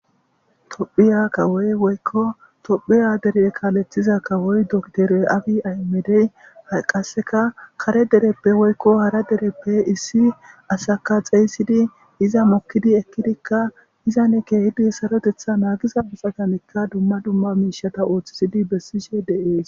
Tophphiya kawoyi woyikko tophphiya dere kaleththiza kawoyi docter abi ayimedeyi hayi qasekka kare dereppe woyikko hara dereppe issi asakka xeyissid iza moki ekkiddikka izanni kehidikka Saroteththa nagizza asatinkka dumma dumma mishshata oththisidd besishshe de'ees.